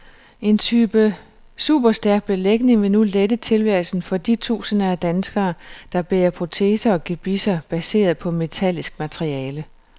En ny type superstærk belægning vil nu lette tilværelsen for de tusinder af danskere, der bærer proteser og gebisser baseret på metallisk materiale.